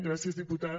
gràcies diputada